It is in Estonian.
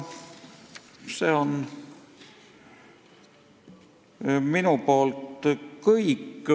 See on minu poolt kõik.